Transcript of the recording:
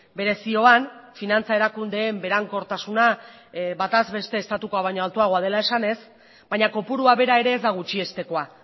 bere zioan finantza erakundeen berankortasuna bataz beste estatukoa baino altuagoa dela esanez baina kopurua bera ere ez da gutxiestekoa